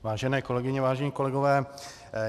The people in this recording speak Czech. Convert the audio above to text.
Vážené kolegyně, vážení kolegové.